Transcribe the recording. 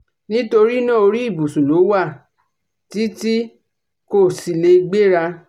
nítorí náà orí ìbùsùn ló wà tí tí kò sì lè gbéra